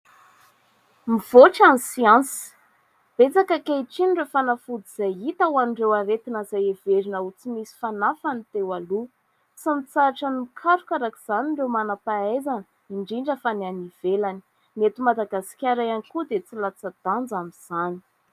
Mivoatra ny siansa, betsaka ankehitriny ireo fanafody izay hita ho an'ireo aretina izay heverina ho tsy misy fanafany teo aloha. Tsy mitsahatra ny mikaroka araka izay ireo manam-pahaizana, indrindra fa ny any ivelany ; ny eto Madagasikara ihany koa dia tsy latsa-danja amin'izany.